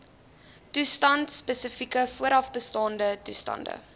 toestandspesifieke voorafbestaande toestande